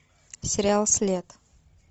сериал след